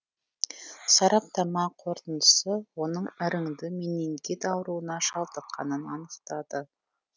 сараптама қорытындысы оның іріңді менингит ауруына шалдыққанын анықтады